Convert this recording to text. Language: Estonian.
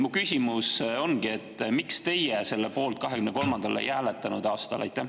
Mu küsimus ongi, miks teie 2023. aastal selle poolt ei hääletanud.